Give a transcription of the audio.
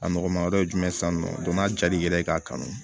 A nɔgɔma wɛrɛ ye jumɛn ye sisan nɔ n'a jal'i yɛrɛ ye i k'a kanu